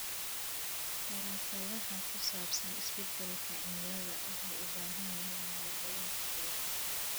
Daraasadaha ku saabsan isbeddelka cimilada waxay u baahan yihiin maalgelin ku filan.